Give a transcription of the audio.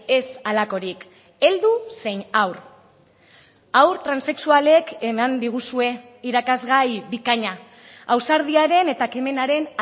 ez halakorik heldu zein haur haur transexualek eman diguzue irakasgai bikaina ausardiaren eta ekimenaren